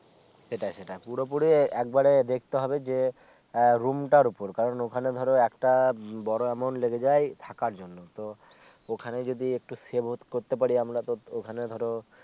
সেটাই সেটাই পুরো পুরি একবারে দেখতে হবে যে আহ room টার উপর কারন ওখানে ধরো একটা বড় amount লেগে যায় থাকার জন্য তো ওখানে যদি একটু save করতে পারি আমরা তো ওখানে ধরো